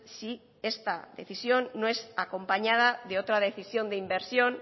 si esta decisión no es acompañada de otra decisión de inversión